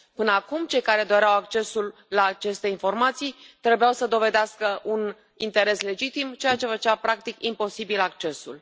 Până acum, cei care doreau accesul la aceste informații trebuiau să dovedească un interes legitim, ceea ce făcea practic imposibil accesul.